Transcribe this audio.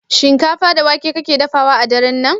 Shinkafa da wake kake dafawa a daren nan?